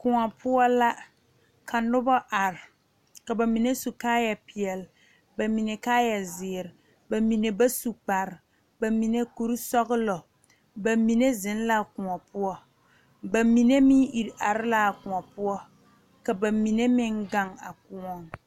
Koɔ poɔ la ka noba are ka ba mine su kaayapeɛle ba mine kaayazeere ba mine ba su kpare ba mine kurisɔglɔ ba mine zeŋ la koɔ poɔ ba mine meŋ iri are la a koɔ poɔ ka ba mine meŋ gaŋ a koɔŋ.